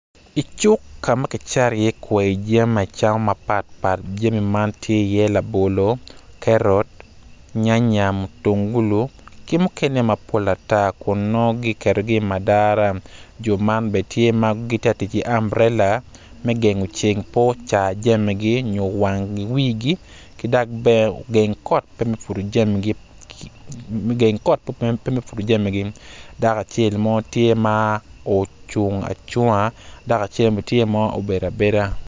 I cuk ka ma kicato iye kwai jami acama mapat pat jami man tye iye labolo, karo, nyanya, mutungulu ki mukene mapol ata kun nongo giketogi i madara jo man bene tye ma ggitye ka tic ki amburela me gengo ceng pe ocar jamigi nyo wangi wigi ki dok bene ogeng kot pe me pwodo jamigi dako acel mo tye ma ocung cunga dako acel bene tye ma obedo abeda.